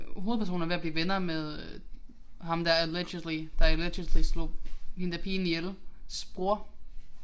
Hovedpersonen er ved at blive venner med ham der allegedly der allegedly slog hende der pigen ihjels bror